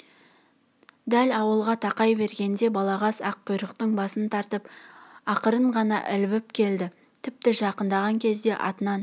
дәл ауылға тақай бергенде балағаз аққұйрықтың басын тартып ақырын ғана ілбіп келді тіпті жақындаған кезде атынан